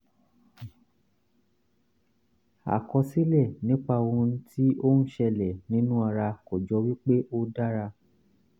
àkọsílẹ̀ nípa ohun tí ó ń ṣẹlẹ̀ nínú ara kò jọ wí pé ó dára